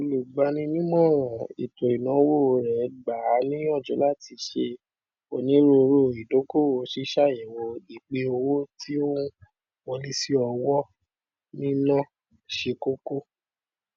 olùgbaninímọràn ètò ìnáwó rẹ gbà á níyànjú láti ṣe onírùurù idókòwò ṣíṣàyẹwò ipin owó tí n wọlésíowó níná ṣe kókó